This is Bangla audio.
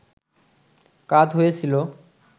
কাত হয়ে ছিল